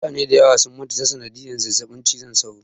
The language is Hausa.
Mutane dayawa sun mutu ta sanadiyar zazzaɓin cizon sauro